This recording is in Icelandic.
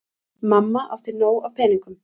Mamma átti nóg af peningum.